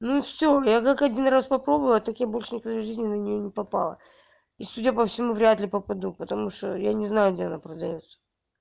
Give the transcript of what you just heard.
ну всё я как один раз попробовала и так я большие в жизни на неё не попала и судя по всему вряд ли попаду потому что я не знаю где она продаётся